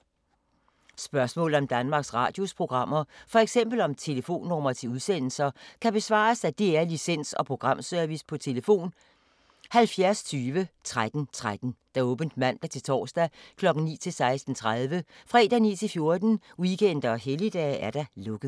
Spørgsmål om Danmarks Radios programmer, f.eks. om telefonnumre til udsendelser, kan besvares af DR Licens- og Programservice: tlf. 70 20 13 13, åbent mandag-torsdag 9.00-16.30, fredag 9.00-14.00, weekender og helligdage: lukket.